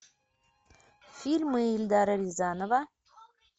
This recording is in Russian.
фильмы эльдара рязанова